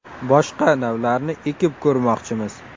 Boshqa navlarni ekib ko‘rmoqchimiz.